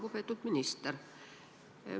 Lugupeetud minister!